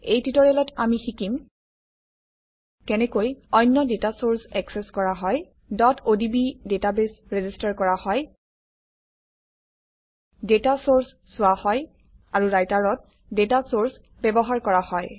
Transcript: এই টিউটৰিয়েলত আমি শিকিম কেনেকৈ অন্য ডাটা চৰ্চ একচেচ কৰা হয় odb ডাটাবেছ ৰেজিষ্টাৰ কৰা হয় ডাটা চৰ্চ চোৱা হয় আৰু ৰাইটাৰত ডাটা চৰ্চ ব্যৱহাৰ কৰা হয়